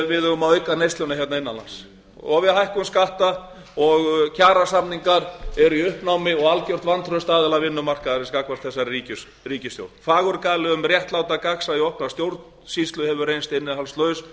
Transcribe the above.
eigum að auka neysluna hér innan lands við hækkum skatta og kjarasamningar eru í uppnámi og algjört vantraust aðila vinnumarkaðarins gagnvart þessari ríkisstjórn fagurgali um réttláta gagnsæi okkar stjórnsýslu hefur reynst innihaldslaus